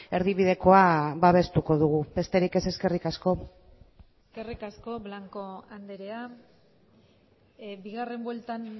erdibidekoa babestuko dugu besterik ez eskerrik asko eskerrik asko blanco andrea bigarren bueltan